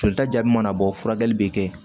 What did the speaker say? Jolita jaabi mana bɔ furakɛli bɛ kɛ yen